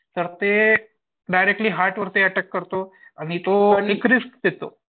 तर ते directly heart वरती अटॅक करतो. आणि तो देतो.